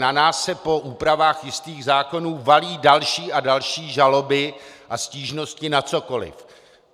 Na nás se po úpravách jistých zákonů valí další a další žaloby a stížnosti na cokoli.